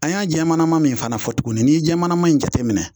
An y'a jɛmannama min fana fɔ tuguni n'i ye jɛmannama in jateminɛ